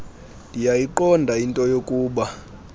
ndiyayiqonda into yokuba